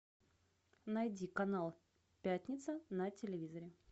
найди канал пятница на телевизоре